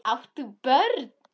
Átt þú börn?